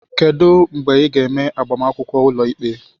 Kedu mgbe ị ga-eme agbamakwụkwọ ụlọikpe?